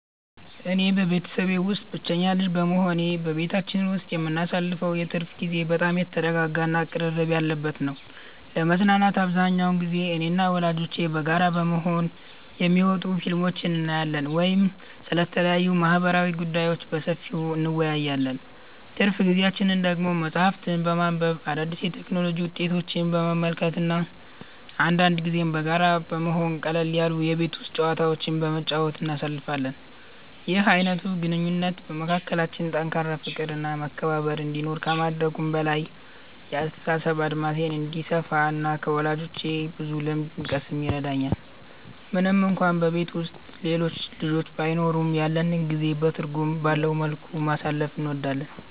እኔ በቤተሰቤ ውስጥ ብቸኛ ልጅ በመሆኔ፣ በቤታችን ውስጥ የምናሳልፈው የትርፍ ጊዜ በጣም የተረጋጋ እና ቅርርብ ያለበት ነው። ለመዝናናት አብዛኛውን ጊዜ እኔና ወላጆቼ በጋራ በመሆን የሚወጡ ፊልሞችን እናያለን ወይም ስለተለያዩ ማህበራዊ ጉዳዮች በሰፊው እንወያያለን። ትርፍ ጊዜያችንን ደግሞ መጽሐፍትን በማንበብ፣ አዳዲስ የቴክኖሎጂ ውጤቶችን በመመልከት እና አንዳንድ ጊዜም በጋራ በመሆን ቀለል ያሉ የቤት ውስጥ ጨዋታዎችን በመጫወት እናሳልፋለን። ይህ አይነቱ ግንኙነት በመካከላችን ጠንካራ ፍቅር እና መከባበር እንዲኖር ከማድረጉም በላይ፣ የአስተሳሰብ አድማሴ እንዲሰፋ እና ከወላጆቼ ብዙ ልምድ እንድቀስም ይረዳኛል። ምንም እንኳን በቤት ውስጥ ሌሎች ልጆች ባይኖሩም፣ ያለንን ጊዜ በትርጉም ባለው መልኩ ማሳለፍ እንወዳለን።